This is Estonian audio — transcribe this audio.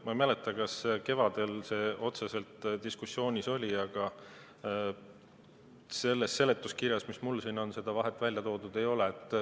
Ma ei mäleta, kas kevadel see otseselt diskussioonis oli, aga selles seletuskirjas, mis mul siin on, seda vahet välja toodud ei ole.